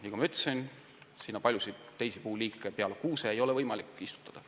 Nagu ma ütlesin, pole sellisesse metsa peale kuuse võimalik eriti midagi muud istutada.